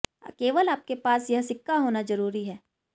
केवल आपके पास यह सिक्का होना जरूरी है